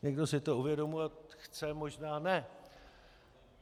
Někdo si to uvědomovat chce, možná ne.